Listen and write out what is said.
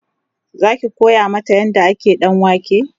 Zaki koya mata yadda ake ɗanwake?